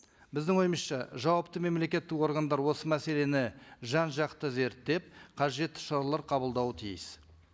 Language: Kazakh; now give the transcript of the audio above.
біздің ойымызша жауапты мемлекеттік органдар осы мәселені жан жақты зерттеп қажетті шаралар қабылдауы тиіс